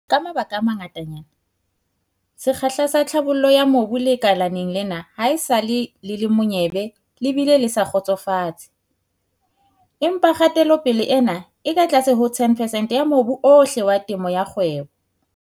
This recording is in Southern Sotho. Ka mabaka a mangatanyana, sekgahla sa tlhabollo ya mobu lekaleng lena haesale le le monyebe le bile le sa kgotsofatse. Empa kgatelopele ena e ka tlase ho 10 percent ya mobu ohle wa temo ya kgwebo.